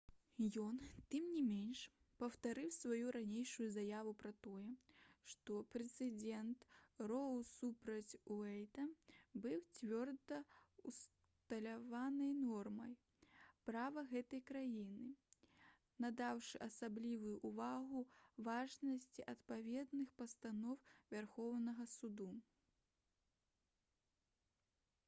ён тым не менш паўтарыў сваю ранейшую заяву пра тое што прэцэдэнт «роу супраць уэйда» быў «цвёрда ўсталяванай нормай права гэтай краіны» надаўшы асаблівую ўвагу важнасці адпаведных пастаноў вярхоўнага суда